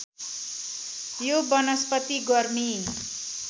यो वनस्पति गर्मी